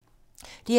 DR2